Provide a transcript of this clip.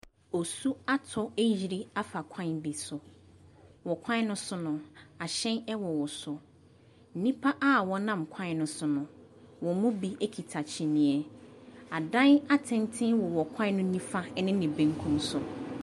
Osu atɔ ayiri afa kwan bi so. Wɔ kwan no so no, ahyɛn ɛwowɔ so. Nnipa a wɔnam kwan no so no, wɔn mu bi kita kyinii. Adan tenten wɔwɔ kwan no nimfa ne ne bekum so.